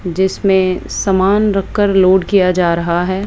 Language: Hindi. जिसमें सामान रखकर लोड किया जा रहा है।